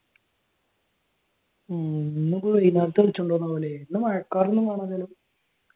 ഉം ഇന്നുപോയി ഇവിടെ മഴക്കാർ